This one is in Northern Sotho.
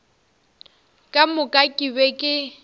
ka moka ke be ke